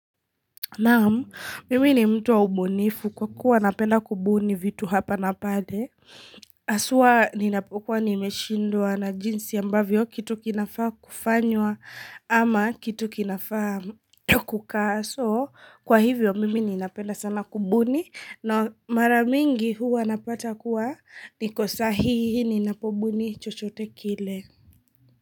Naam, mimi ni mtu wa ubunifu kwa kuwa napenda kubuni vitu hapa na pale. Haswa ninapokuwa nimeshindwa na jinsi ambavyo kitu kinafaa kufanywa ama kitu kinafaa kukaa. So, kwa hivyo mimi ninapenda sana kubuni na maramingi huwa napata kuwa niko sahihi ninapobuni chochote kile.